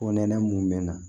Ko nɛnɛ mun mɛ n na